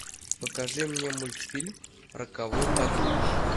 покажи мне мультфильм роковой патруль